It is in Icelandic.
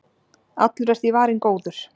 allur er því varinn góður